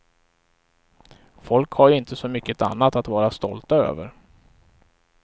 Folk har ju inte så mycket annat att vara stolta över.